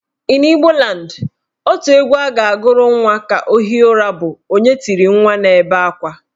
In Igbo land, otu egwu a ga-agụrụ nwa ka o hie ụra bụ " Onye tiri nwa na-ebe akwa"